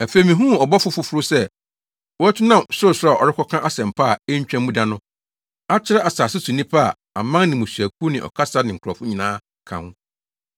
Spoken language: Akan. Afei mihuu ɔbɔfo foforo sɛ watu nam sorosoro a ɔrekɔka asɛmpa a entwa mu da no akyerɛ asase so nnipa a aman ne mmusuakuw ne ɔkasa ne nkurɔfo nyinaa ka ho.